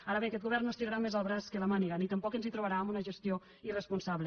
ara bé aquest govern no estirarà més el braç que la màniga ni tampoc ens trobarà en una gestió irrespon·sable